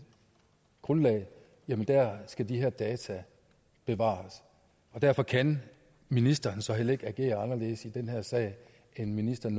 grundlag skal de her data bevares derfor kan ministeren så heller ikke agere anderledes i den her sag end ministeren